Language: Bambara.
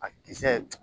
A kisɛ